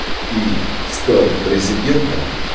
и стал резидентом